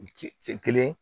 Kelen